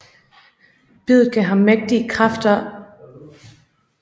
Biddet gav ham mægtige edderkoppelignende kræfter